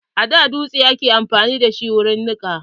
A da dotse ake amfani da wurin nika.